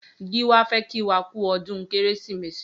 Giwa fè kí wà kù ọdùn Kérésimési